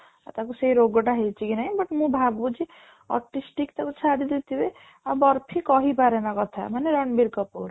ତାକୁ ସେଇ ରୋଗ ଟା ହେଇଚି କି ନାଇଁ but ମୁଁ ଭବୁଛି optimistic ତାକୁ ଛାଡି ଦେଇ ଥିବେ ଆଉ କହି ପାରେନା କଥା ମାନେ ରଣବୀର କପୂର